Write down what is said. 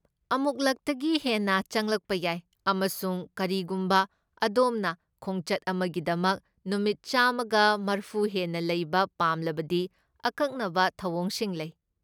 ꯑꯃꯨꯛꯂꯛꯇꯒꯤ ꯍꯦꯟꯅ ꯆꯪꯂꯛꯄ ꯌꯥꯏ ꯑꯃꯁꯨꯡ ꯀꯔꯤꯒꯨꯝꯕ ꯑꯗꯣꯝꯅ ꯈꯣꯡꯆꯠ ꯑꯃꯒꯤꯗꯃꯛ ꯅꯨꯃꯤꯠ ꯆꯥꯝꯃꯒ ꯃꯔꯐꯨ ꯍꯦꯟꯅ ꯂꯩꯕ ꯄꯥꯝꯂꯕꯗꯤ ꯑꯀꯛꯅꯕ ꯊꯧꯑꯣꯡꯁꯤꯡ ꯂꯩ꯫